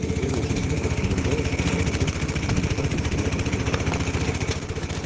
при первых же звуках его голоса белый клык отскочил назад и свирепо зарычал